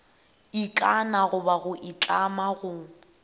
ikana goba go itlama go